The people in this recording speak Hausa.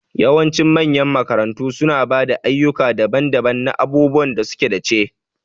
Yawancin manyan makarantu suna ba da ayyuka daban-daban na abubuwan da suka dace.